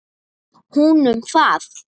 Hún um það.